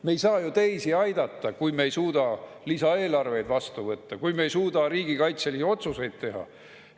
Me ei saa ju teisi aidata, kui me ei suuda lisaeelarveid vastu võtta või kui me ei suuda riigikaitselisi otsuseid teha.